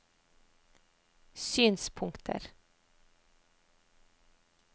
synspunkter